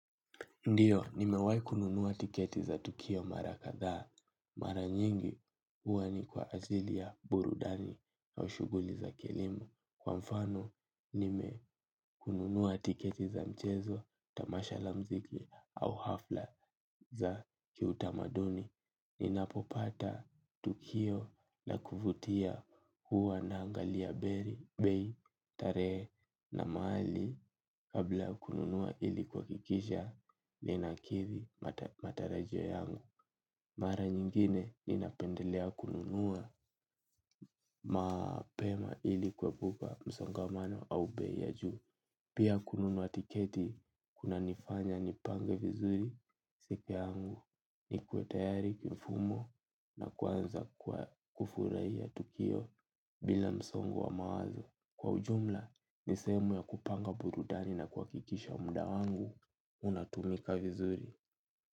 Ndiyo, nimewahi kununua tiketi za Tukio Mara Kadhaa. Mara nyingi huwa ni kwa ajili ya burudani au shughuli za kilimo. Kwa mfano, nimenunua tiketi za mchezo, tamasha la mziki au hafla za kiutamaduni. Ninapopata tukio na kuvutia huwa naangalia, bei, tarehe na mahali. Kabla ya kununua ili kuhakikisha ninakidhi matarajio yangu. Mara nyingine ninapendelea kununua mapema ili kuepuka msongamano au bei ya juu. Pia kununua tiketi kuna nifanya nipange vizuri. Siku yangu nikuwe tayari kufumo na kuanza kwa kufurahia tukio bila msongo wa mawazo. Kwa ujumla, ni sehemu ya kupanga burudani na kuhakikisha muda wangu, unatumika vizuri.